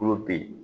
Tulo ben